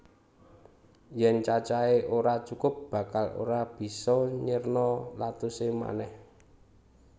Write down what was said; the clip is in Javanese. Yèn cacahé ora cukup bakal ora bisa nyerna lactose manèh